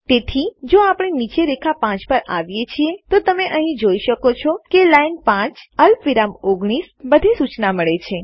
તેથી જો આપણે નીચે રેખા 5 પર આવીએ છીએ તો તમે અહીં જોઈ શકો છો કે લાઈન 5 અલ્પવિરામ 19 એલએન5 કોલ19 અમને બધી સુચના મળે છે